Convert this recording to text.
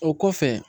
O kɔfɛ